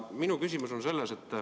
Minu küsimus on selline.